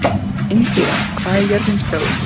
Indíra, hvað er jörðin stór?